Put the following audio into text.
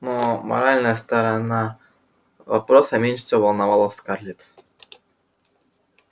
но моральная сторона вопроса меньше всего волновала скарлетт